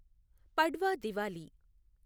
Padwa Diwali